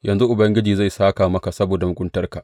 Yanzu Ubangiji zai sāka maka saboda muguntarka.